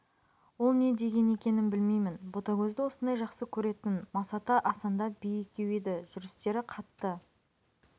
ол не дегені екенін білмеймін ботагөзді осындай жақсы көретін масаты асанда бие екеу еді жүрістері қатты